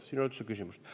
Siin ei ole üldse küsimust.